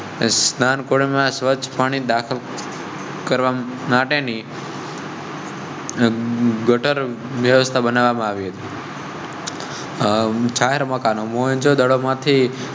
સ્નાન કોડ માં સ્વચ્છ પાણી દાખલ. કરવા માટે ની ગટર વ્યવસ્થા બનાવી. જાહેર મકાનો મોહેં જો દડો માંથી